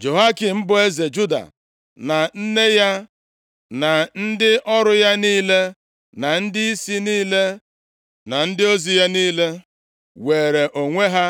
Jehoiakin, bụ eze Juda, na nne ya na ndị ọrụ ya niile na ndịisi niile na ndịisi ozi ya niile were onwe ha